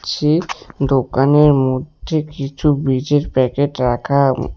সেই দোকানের মঢ্যে কিছু বীজের প্যাকেট রাখা উম।